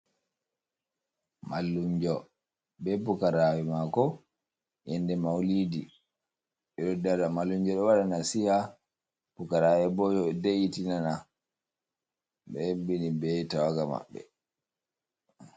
Mallumjo bee pukaraaɓe maako yannde mawilidi, ɓe do dada, mallumjo ɗo waɗa nasiiha, pukaraaɓe boo ɗo heɗita ɓe ɗo hebbini bee tawaga maɓɓe.